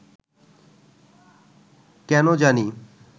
কেনো জানি